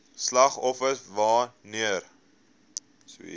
slagoffers wan neer